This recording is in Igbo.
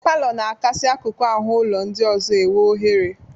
Palọ na-akasị akụkụ ahụ ụlọ ndị ọzọ enwe ọhere.